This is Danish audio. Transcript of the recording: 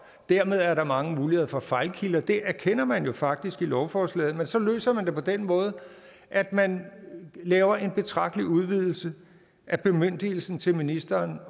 dermed er der mange muligheder for fejlkilder det erkender man jo faktisk i lovforslaget men så løser man det på den måde at man laver en betragtelig udvidelse af bemyndigelsen til ministeren